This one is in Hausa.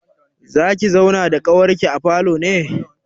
Zaki zauna da ƙawarki a falo ne?